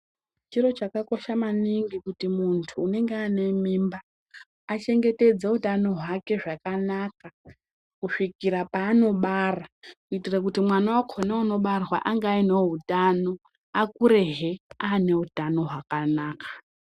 Chiro chakakosha maningi kuti muntu unenge ane mimba, achengetedza utano hwake zvakanaka kusvikira panobara kuitira kuti mwana wakhona unobarwa ange ainewo utano akurehe ane utano hwakanaka.